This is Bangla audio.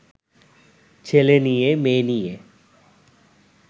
ছেলে নিয়ে মেয়ে নিয়ে